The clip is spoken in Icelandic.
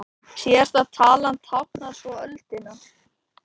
Síðasta talan táknar svo öldina.